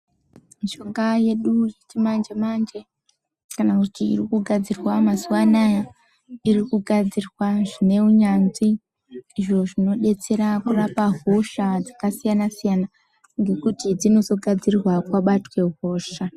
Mishonga yedu yechimanje manje kana kuti irikugadzirwa mazuwa anaya irikugadzirwa zvineunyanzvi izvo zvinobetsera kurapa hosha dzakasiyana_siyana ngekuti dzinozogadzirwa kwabatwe hosha.